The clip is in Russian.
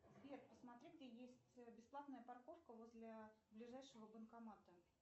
сбер посмотри где есть бесплатная парковка возле ближайшего банкомата